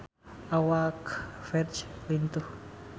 Awak Ferdge lintuh